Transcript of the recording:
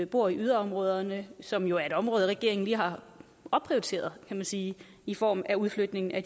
bor i yderområderne som jo er et område regeringen lige har opprioriteret kan man sige i form af udflytning af